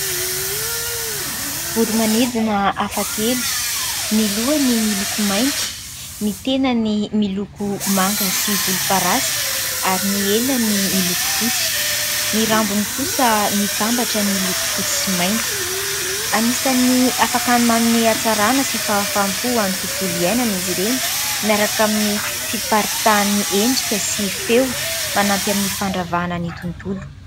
Voro-manidina hafakely : ny lohany miloko mainty, ny tenany miloko manga sy volomparasy ary ny elany miloko fotsy, ny rambony kosa mitambatra ny loko fotsy sy mainty ; anisany afaka ny manome hatsarana sy fahafaham-po any tontolo iainana izy ireny, miaraka amin'ny fiparitahan'ny endrika sy feo, manampy amin'ny fandravahana ny tontolo.